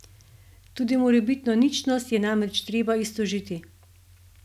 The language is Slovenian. Tudi morebitno ničnost je namreč treba iztožiti.